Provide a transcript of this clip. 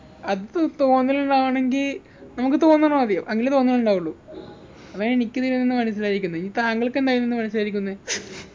അത് തോന്നൽന്നാണെങ്കി നമുക്ക് തോന്നണം ആദ്യം അങ്കിലേ തോന്നുന്നുണ്ടാവുള്ളൂ അതാ എനിക്ക് ഇതിൽനിന്നു മനസിലായിക്ക്ന്ന് ഇനി താങ്കൾക്കെന്താ ഇതിന്ന് മനസിലായിരിക്കുന്നെ